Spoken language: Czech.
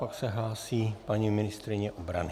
Pak se hlásí paní ministryně obrany.